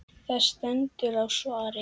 Það stendur á svari.